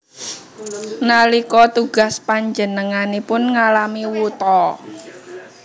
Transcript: Nalika tugas panjenenganipun ngalami wuta